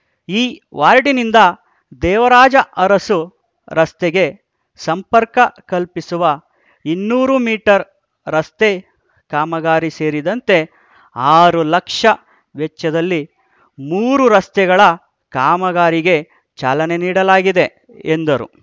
ಈ ವಾರ್ಡಿನಿಂದ ದೇವರಾಜ ಅರಸು ರಸ್ತೆಗೆ ಸಂಪರ್ಕ ಕಲ್ಪಿಸುವ ಇನ್ನೂರು ಮೀಟರ್‌ ರಸ್ತೆ ಕಾಮಗಾರಿ ಸೇರಿದಂತೆ ಆರು ಲಕ್ಷ ವೆಚ್ಚದಲ್ಲಿ ಮೂರು ರಸ್ತೆಗಳ ಕಾಮಗಾರಿಗೆ ಚಾಲನೆ ನೀಡಲಾಗಿದೆ ಎಂದರು